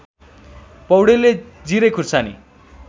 पौडेलले जिरे खुर्सानी